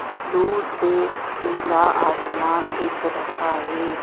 दूर से नीला आसमान दिख रहा है।